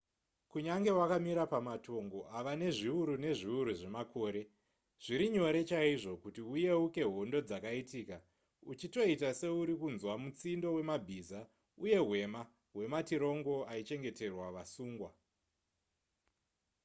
kunyange wakamira pamatongo ava nezviuru nezviuru zvemakore zviri nyore chaizvo kuti uyeuke hondo dzakaitika uchitoita seuri kunzwa mutsindo wemabhiza uye hwema hwematirongo aichengeterwa vasungwa